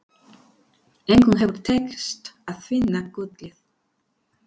Engum hefur tekist að finna gullið.